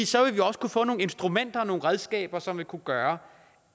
så vil vi også kunne få nogle instrumenter og nogle redskaber som vil kunne gøre